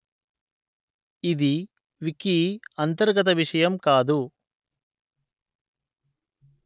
ఇది వికీ అంతర్గత విషయం కాదు